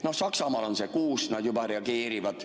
Noh, Saksamaal on see 6%, kui nad juba reageerivad.